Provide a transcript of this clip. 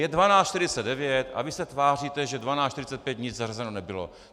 Je 12.49 a vy se tváříte, že na 12.45 nic zařazeno nebylo.